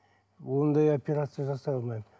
ондай операция жасай алмаймын